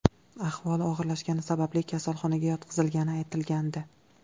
Ahvoli og‘irlashgani sababli kasalxonaga yotqizilgani aytilgandi.